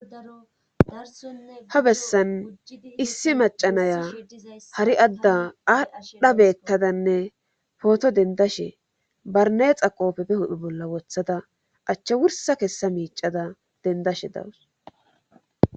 ha bessan issi macanayaz hari adda aadha beettadanne pooto dendashe barneexa qoofepe hudhi bolla wothada achche wursa kessa miicada dendashe dawus